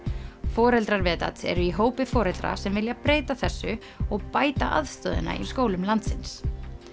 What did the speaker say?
foreldrar eru í hópi foreldra sem vilja breyta þessu og bæta aðstoðina í skólum landsins